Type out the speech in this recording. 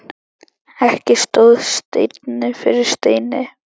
Ekki stóð steinn yfir steini.